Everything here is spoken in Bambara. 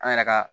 An yɛrɛ ka